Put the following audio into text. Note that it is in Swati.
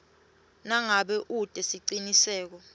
nangabe ute siciniseko